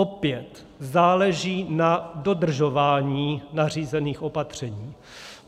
Opět záleží na dodržování nařízených opatření.